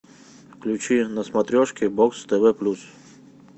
включи на смотрешке бокс тв плюс